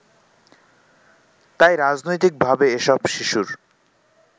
তাই রাজনৈতিকভাবে এসব শিশুর